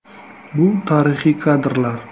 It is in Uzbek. Bu tarixiy kadrlar.